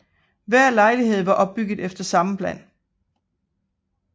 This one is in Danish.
Hver lejlighed var opbygget efter samme plan